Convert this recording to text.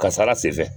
Kasara sen fɛ